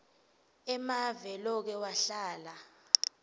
emave loke wahlala